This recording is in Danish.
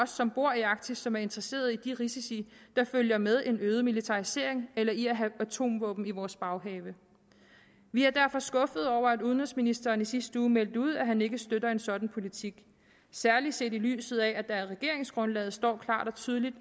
som bor i arktis som er interesseret i de risici der følger med en øget militarisering eller i at have atomvåben i vores baghave vi er derfor skuffede over at udenrigsministeren i sidste uge meldte ud at han ikke støtter en sådan politik særlig set i lyset af at der i regeringsgrundlaget klart og tydeligt